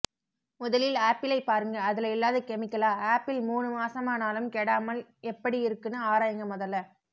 முதலில் ஆப்பிளை பாருங்க அதுல இல்லாத கெமிக்கலா ஆப்பிள் மூனு மாசமானாலும் கெடாமல் எப்படி இருக்குனு ஆராய்ங்க மொதல